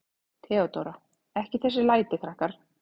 THEODÓRA: Ekki þessi læti, krakkar.